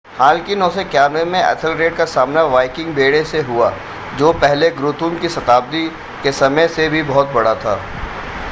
हालांकि 991 में एथेलरेड का सामना वाइकिंग बेड़े से हुआ जो पहले गुथ्रुम की शताब्दी के समय से भी बहुत बड़ा था